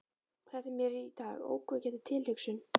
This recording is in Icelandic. Þetta er mér í dag ógnvekjandi tilhugsun.